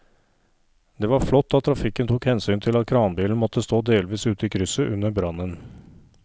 Det var flott at trafikken tok hensyn til at kranbilen måtte stå delvis ute i krysset under brannen.